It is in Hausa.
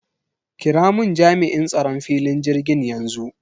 Kiramun Jami'in tsaron filin jirgin yanxu.